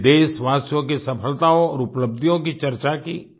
हमने देशवासियों की सफलताओं और उपलब्धियों की चर्चा की